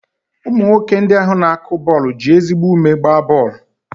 Ụmụ nwoke ndị ahụ na-akụ bọọlụ ji ezigbo ume gbaa bọọlụ.